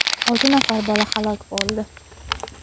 olti nafar bola halok bo‘ldi.